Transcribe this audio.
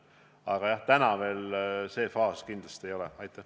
Aga jah, täna see faas meil kindlasti veel käes ei ole.